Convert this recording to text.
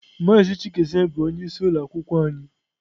Mazị chikezie bụ onyeisi ụlọ akwụkwọ anyị.